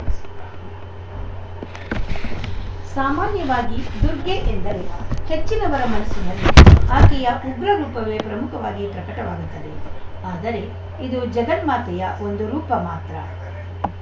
ಸಾಮಾನ್ಯವಾಗಿ ದುರ್ಗೆ ಎಂದರೆ ಹೆಚ್ಚಿನವರ ಮನಸ್ಸಿನಲ್ಲಿ ಆಕೆಯ ಉಗ್ರರೂಪವೇ ಪ್ರಮುಖವಾಗಿ ಪ್ರಕಟವಾಗುತ್ತದೆ ಆದರೆ ಇದು ಜಗನ್ಮಾತೆಯ ಒಂದುರೂಪ ಮಾತ್ರ